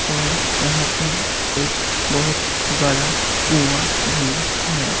और यहां पे एक बहुत बड़ा कुआं भी है।